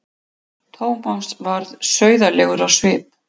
Thomas varð sauðalegur á svip.